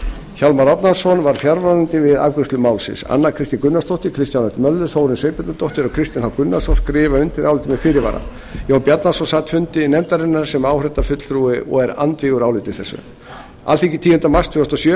hjálmar árnason var fjarverandi við afgreiðslu málsins anna kristín gunnarsdóttir kristján l möller þórunn sveinbjarnardóttir og kristinn h gunnarsson skrifa undir álit þetta með fyrirvara jón bjarnason sat fundi nefndarinnar sem áheyrnarfulltrúi og er andvígur áliti þessu alþingi tíunda mars tvö þúsund og sjö